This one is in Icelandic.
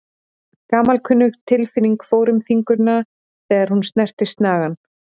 Gamalkunnug tilfinning fór um fingurna þegar hún snerti snagann.